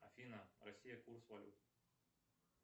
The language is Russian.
афина россия курс валют